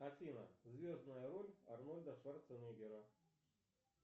афина звездная роль арнольда шварценеггера